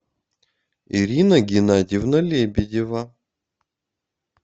ирина геннадьевна лебедева